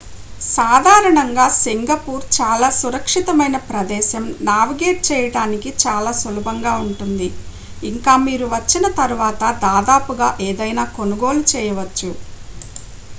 సాధారణంగా సింగపూర్ చాలా సురక్షితమైన ప్రదేశం నావిగేట్ చేయడానికి చాలా సులభంగా ఉంటుంది ఇంకా మీరు వచ్చిన తరువాత దాదాపుగా ఏదైనా కొనుగోలు చేయవచ్చు